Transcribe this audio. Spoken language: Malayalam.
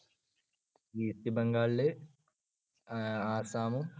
ഈസ്റ്റ് ബംഗാളില് അഹ് ആസ്സാമും